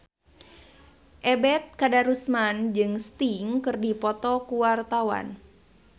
Ebet Kadarusman jeung Sting keur dipoto ku wartawan